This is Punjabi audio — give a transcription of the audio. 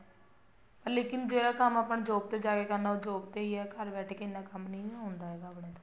ਲੇਕਿਨ ਜੋ ਕੰਮ ਆਪਾਂ ਨੇ job ਤੇ ਜਾ ਕੇ ਕਰਨਾ ਉਹ job ਤੇ ਹੀ ਹੈ ਘਰ ਬੈਠ ਕੇ ਇੰਨਾ ਕੰਮ ਨਹੀਂ ਹੁੰਦਾ ਹੈਗਾ ਆਪਣੇ ਤੋਂ